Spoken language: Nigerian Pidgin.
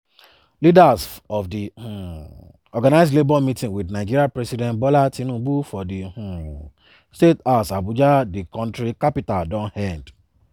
leaders of di um organised labour meeting wit nigeria president bola tinubu for di um state house abuja di kontri capital don end.